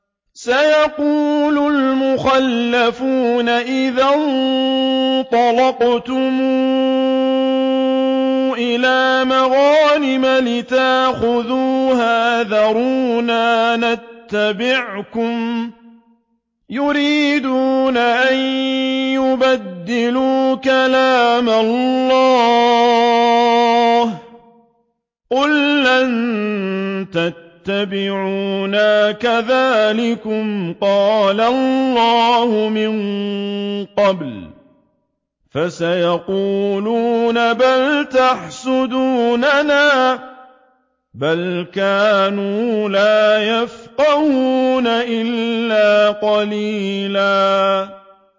سَيَقُولُ الْمُخَلَّفُونَ إِذَا انطَلَقْتُمْ إِلَىٰ مَغَانِمَ لِتَأْخُذُوهَا ذَرُونَا نَتَّبِعْكُمْ ۖ يُرِيدُونَ أَن يُبَدِّلُوا كَلَامَ اللَّهِ ۚ قُل لَّن تَتَّبِعُونَا كَذَٰلِكُمْ قَالَ اللَّهُ مِن قَبْلُ ۖ فَسَيَقُولُونَ بَلْ تَحْسُدُونَنَا ۚ بَلْ كَانُوا لَا يَفْقَهُونَ إِلَّا قَلِيلًا